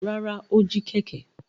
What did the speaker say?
Rárá, ó jí kẹ̀kẹ́.